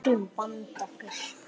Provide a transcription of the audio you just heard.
Við skulum vanda okkur.